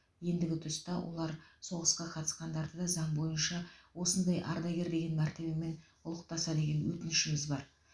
ендігі тұста олар соғысқа қатысқандарды да заң бойынша осындай ардагер деген мәртебемен ұлықтаса деген өтінішіміз бар